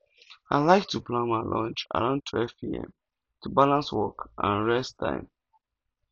i like to plan my lunch around 12pm to balance work and rest time